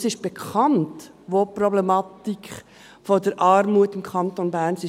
Denn es ist bekannt, wo die Problematik der Armut im Kanton Bern ist.